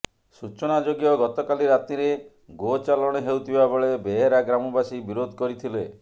ସୂଚନାଯୋଗ୍ୟ ଗତକାଲି ରାତିରେ ଗୋଚାଲାଣ ହେଉଥିବା ବେଳେ ବେହେରା ଗ୍ରାମବାସୀ ବିରୋଧ କରିଥିଲେ